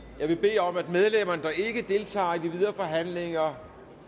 vil bede om at medlemmer der ikke deltager i de videre forhandlinger